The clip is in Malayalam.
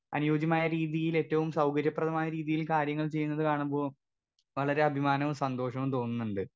സ്പീക്കർ 2 അനുയോജ്യമായ രീതീലേറ്റവും സൗകര്യപ്രദമായ രീതീൽ കാര്യങ്ങള് ചെയ്യുന്നത് കാണുമ്പോ വളരെ അഭിമാനവും സന്തോഷവും തോന്നുന്നുണ്ട്.